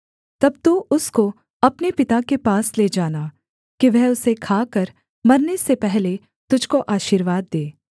तब तू उसको अपने पिता के पास ले जाना कि वह उसे खाकर मरने से पहले तुझको आशीर्वाद दे